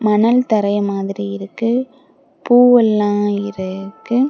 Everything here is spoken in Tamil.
மணல் தரயை மாதிரி இருக்கு. பூவெல்லாம் இ இருக்கு.